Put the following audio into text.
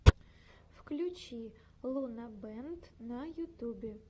включи лунабэнд на ютубе